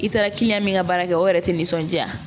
I taara min ka baara kɛ o yɛrɛ tɛ nisɔndiya